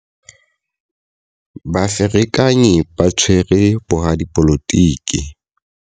Baferekanyi ba tshwere boradipolotiki.